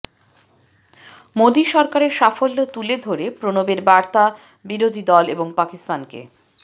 মোদি সরকারের সাফল্য তুলে ধরে প্রণবের বার্তা বিরোধী দল এবং পাকিস্তানকে